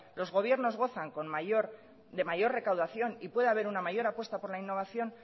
los gobiernos gozan de mayor recaudación y puede haber una mayor apuesta por la innovación